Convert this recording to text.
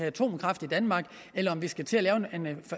atomkraft i danmark eller om vi skal til